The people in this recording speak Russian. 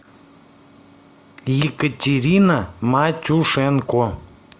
екатерина матюшенко